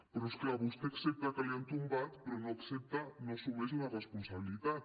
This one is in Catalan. però és clar vostè accepta que l’hi han tombat però no accepta no assumeix la responsabilitat